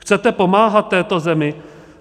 Chcete pomáhat této zemi?